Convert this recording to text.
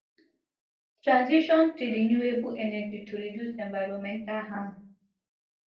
transition to renewable energy to reduce environmental harm